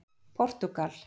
Portúgal